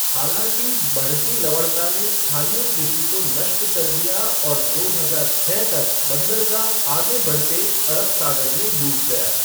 हालाँकि, बढ़ती लवणता ने स्थानीय कृषि को नष्ट कर दिया और दो हजार छः तक बंदरगाह आगे बढ़ते अरब सागर में डूब गया।